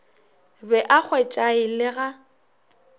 be a hwetšae le ga